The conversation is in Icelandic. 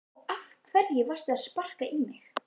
Og af hverju varstu að sparka í mig?